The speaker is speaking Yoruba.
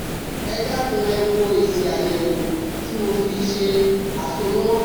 Ẹ dákun ẹ wo èsì àyèwò tí mo fi ṣe àsomọ́